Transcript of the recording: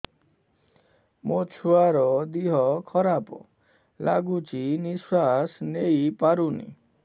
ମୋ ଛୁଆର ଦିହ ଖରାପ ଲାଗୁଚି ନିଃଶ୍ବାସ ନେଇ ପାରୁନି